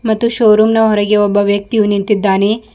ಮತ್ತು showroom ನ ಹೊರಗೆ ಒಬ್ಬ ವ್ಯಕ್ತಿಯು ನಿಂತಿದ್ದಾನೆ.